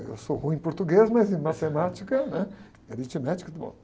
Eu sou ruim em português, mas em matemática, né? E aritmética, muito bom.